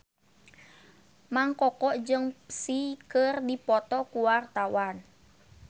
Mang Koko jeung Psy keur dipoto ku wartawan